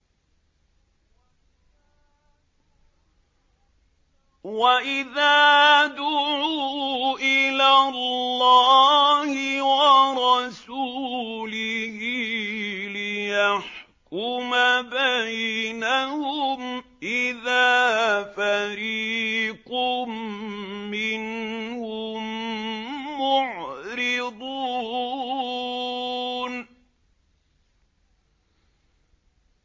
وَإِذَا دُعُوا إِلَى اللَّهِ وَرَسُولِهِ لِيَحْكُمَ بَيْنَهُمْ إِذَا فَرِيقٌ مِّنْهُم مُّعْرِضُونَ